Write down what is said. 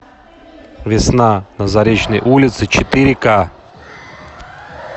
весна на заречной улице четыре ка